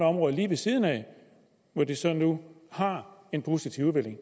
område lige ved siden af hvor de så nu har en positiv udvikling